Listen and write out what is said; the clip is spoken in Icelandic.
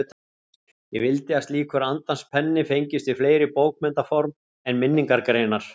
Ég vildi að slíkur andans penni fengist við fleiri bókmenntaform en minningargreinar.